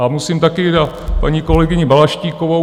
A musím také na paní kolegyni Balaštíkovou.